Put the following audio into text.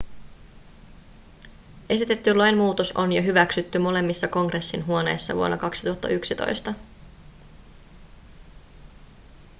esitetty lainmuutos on jo hyväksytty molemmissa kongressin huoneissa vuonna 2011